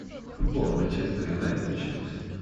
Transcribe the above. футбол манчестер юнайтед и челси